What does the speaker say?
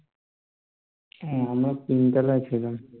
আমরা তিনতলায় ছিলাম